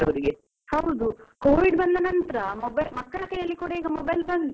ಹೌದು. covid ಬಂದ ನಂತ್ರ mobile , ಮಕ್ಕಳ ಕೈಯಲ್ಲಿ ಕೂಡ ಈಗ mobile ಬಂದು.